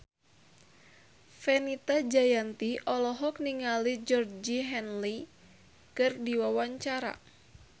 Fenita Jayanti olohok ningali Georgie Henley keur diwawancara